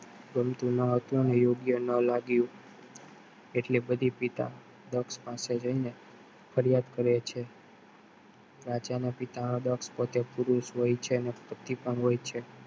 ગમતું નો હતું ને યોગ્ય નલાગ્યું એટલે બધી પિતા દક્ષ પાસે જઈને ફરિયાદ કરે છે રાજા નો પિતા હા દક્ષ પોતે પુરુષ પણ હોય છે અને પતિ પણ હોય છે